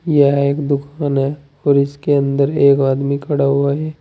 यह एक दुकान है और इसके अंदर एक आदमी खड़ा हुआ है।